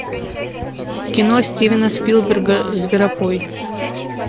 кино стивена спилберга зверопой